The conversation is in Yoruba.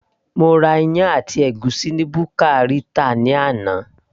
mo ra iyán àti ègúsí ni buka Rita ni àná